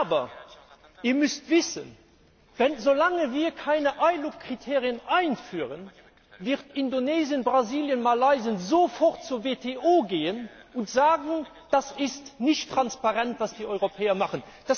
Aber Ihr müsst wissen Solange wir keine ILUC Kriterien einführen, werden Indonesien, Brasilien und Malaysia sofort zur WTO gehen und sagen, das ist nicht transparent, was die Europäer machen.